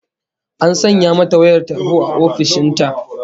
An sanya mata wayar tarho a ofishin ta